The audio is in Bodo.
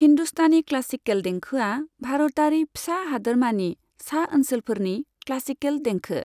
हिन्दुस्तानी क्लासिकेल देंखोआ भारतारि फिसा हादोरमानि सा ओनसोलफोरनि क्लासिकेल देंखो।